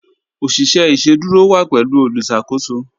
Oṣiṣẹ iṣẹdúrò wa pẹ̀lú olùṣakòsò